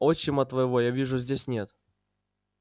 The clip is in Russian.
отчима твоего я вижу здесь нет